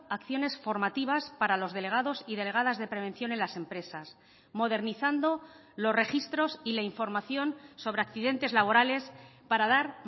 acciones formativas para los delegados y delegadas de prevención en las empresas modernizando los registros y la información sobre accidentes laborales para dar